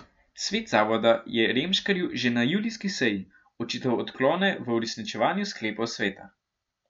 Svet zavoda je Remškarju že na julijski seji očital odklone v uresničevanju sklepov sveta.